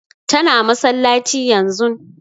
Ta na masallaci yanzun